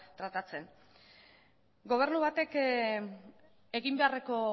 tratatzen gobernu batek egin beharreko